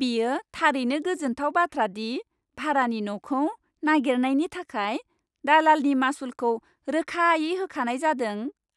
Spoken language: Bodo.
बेयो थारैनो गोजोनथाव बाथ्रा दि भारानि न'खौ नागिरनायनि थाखाय दालालनि मासुलखौ रोखायै होखानाय जादों